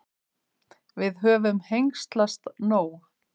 Við höfum hengslast nóg.